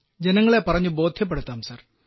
ജനങ്ങളെ പറഞ്ഞു ബോദ്ധ്യപ്പെടുത്താം സർ